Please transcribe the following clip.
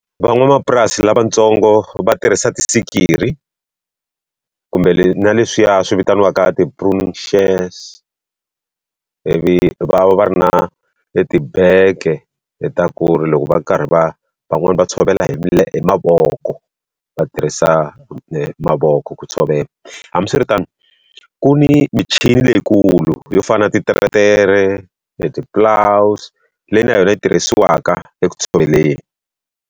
Van'wamapurasi lavatsongo va tirhisa tisikiri kumbe na leswiya swi vitaniwaka ivi va va va ri na etibege ta ku ri loko va karhi va van'wani va tshovela hi hi mavoko va tirhisa mavoko ku tshovela. Hambiswiritano, ku ni michini leyikulu yo fana na titeretere, eti-ploughs leyi na yona yi tirhisiwaka eku tshoveleni.